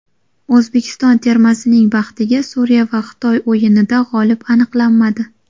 O‘zbekiston termasining baxtiga Suriya va Xitoy o‘yinida g‘olib aniqlanmadi.